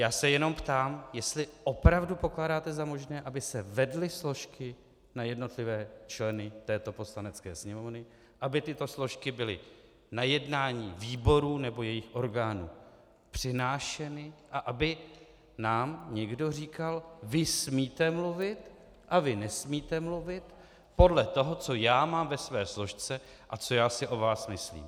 Já se jenom ptám, jestli opravdu pokládáte za možné, aby se vedly složky na jednotlivé členy této Poslanecké sněmovny, aby tyto složky byly na jednání výborů nebo jejich orgánů přinášeny a aby nám někdo říkal: vy smíte mluvit a vy nesmíte mluvit podle toho, co já mám ve své složce a co já si o vás myslím.